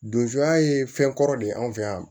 Donzoya ye fɛn kɔrɔ de ye anw fɛ yan